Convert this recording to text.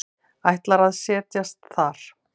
Ætlar að set jast þar.